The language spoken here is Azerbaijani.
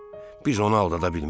Biz onu aldadabilmərik.